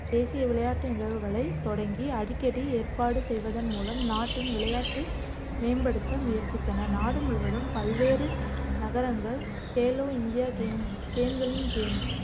தேசிய விளையாட்டு நிகழ்வுகளைத் தொடங்கி, அடிக்கடி ஏற்பாடு செய்வதன் மூலம் நாட்டின் விளையாட்டு மேம்படுத்த முயற்சித்தன. நாடு முழுவதும் பல்வேறு நகரங்கள் கேலோ இந்தியா கேம் கேம்களின் கேம்